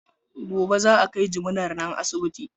Gobe za a kai jiminar nan asibiti.